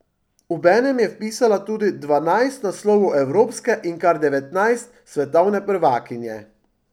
Obenem je vpisala tudi dvanajst naslovov evropske in kar devetnajst svetovne prvakinje.